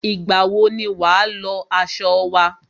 Ìgbà wọ ni wà á lọ aṣọ wa?